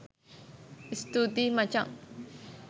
ස්තුතියි මචං